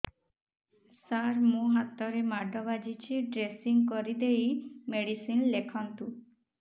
ସାର ମୋ ହାତରେ ମାଡ଼ ବାଜିଛି ଡ୍ରେସିଂ କରିଦେଇ ମେଡିସିନ ଲେଖନ୍ତୁ